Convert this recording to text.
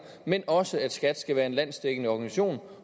men også at skat skal være en landsdækkende organisation